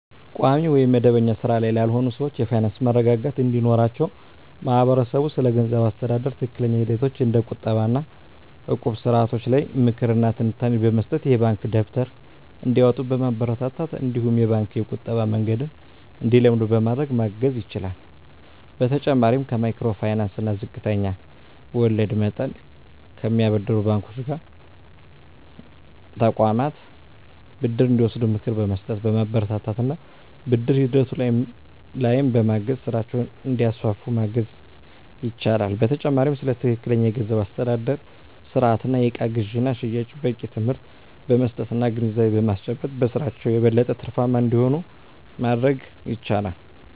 ቋሚ ወይም መደበኛ ሥራ ላይ ላልሆኑ ሰዎች የፋይናንስ መረጋጋት እንዲኖራቸው ማህበረሰቡ ስለገንዘብ አስተዳደር ትክክለኛ ሂደቶች እንደ ቁጠባ እና እቁብ ስርዓቶች ላይ ምክር እና ትንታኔ በመስጠት፣ የባንክ ደብተር እንዲያወጡ በማበረታታት እነዲሁም የባንክ የቁጠባ መንገድን እንዲለምዱ በማድረግ ማገዝ ይችላል። በተጨማሪም ከማይክሮ ፋይናንስ እና ዝቅተኛ ወለድ መጠን ከሚያበድሩ ባንኮች እና ተቋማት ብድር እንዲወስዱ ምክር በመስጠት፣ በማበረታታት እና ብድር ሂደቱ ላይም በማገዝ ስራቸውን እንዲያስፋፉ ማገዝ ይቻላል። በተጨማሪም ስለ ትክክለኛ የገንዘብ አስተዳደር ስርአት እና የእቃ ግዥና ሽያጭ በቂ ትምህርት በመስጠት እና ግንዛቤ በማስጨበጥ በስራቸው የበለጠ ትርፋማ እንዲሆኑ ማድረግ ይቻላል።